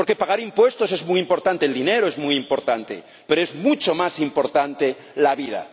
Porque pagar impuestos es muy importante, el dinero es muy importante, pero es mucho más importante la vida.